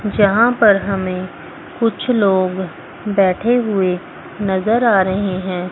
जहां पर हमें कुछ लोग बैठे हुए नजर आ रहे हैं।